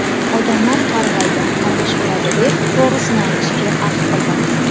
Odamlar qarg‘aydi, qarg‘ish uradi, deb to‘g‘risini aytishga ahd qildim.